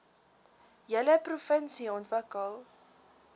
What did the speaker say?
hele provinsie ontwikkel